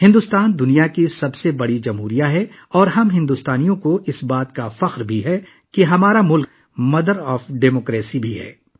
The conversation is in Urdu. بھارت دنیا کی سب سے بڑی جمہوریت ہے اور ہم بھارتیوں کو اس بات پر بھی فخر ہے کہ ہمارا ملک جمہوریت کی ماں ہے